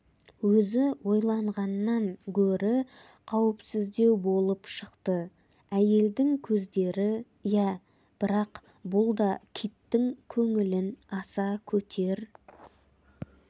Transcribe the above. өзі ойланғаннан гөрі қауіпсіздеу болып шықты әйелдің көздері иә бірақ бұл да киттің көңілін аса көтер